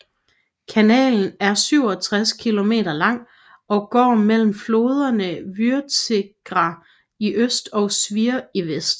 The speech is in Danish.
Kanalen er 67 km lang og går mellem floderne Vytegra i øst og Svir i vest